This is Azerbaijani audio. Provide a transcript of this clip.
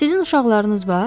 Sizin uşaqlarınız var?